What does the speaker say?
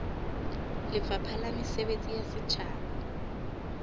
lefapha la mesebetsi ya setjhaba